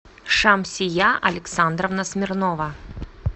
шамсия александровна смирнова